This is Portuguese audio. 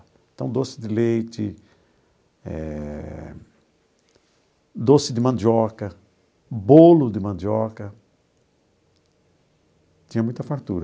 Então, doce de leite eh, doce de mandioca, bolo de mandioca, tinha muita fartura.